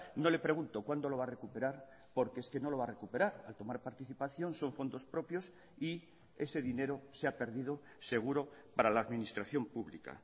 no le pregunto cuando lo va a recuperar porque es que no lo va a recuperar al tomar participación son fondos propios y ese dinero se ha perdido seguro para la administración pública